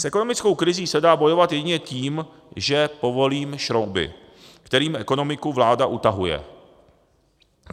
S ekonomickou krizí se dá bojovat jedině tím, že povolím šrouby, kterými ekonomiku vláda utahuje.